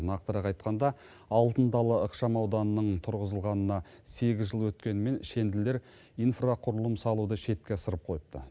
нақтырақ айтқанда алтын дала ықшамауданының тұрғызылғанына сегіз жыл өткенімен шенділер инфрақұрылым салуды шетке ысырып қойыпты